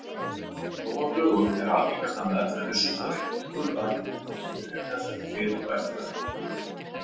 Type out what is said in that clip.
Nú á dögum er algengasta meðferð við sullaveiki skurðaðgerð ásamt lyfjameðferð fyrir og eftir aðgerð.